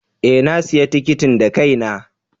Ee, na sayi tikitin da kaina.